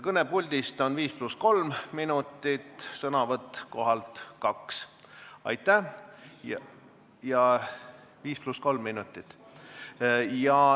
Kõne puldist on viis pluss kolm minutit, sõnavõtt kohalt kaks minutit.